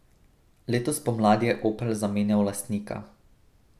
Letos spomladi je Opel zamenjal lastnika.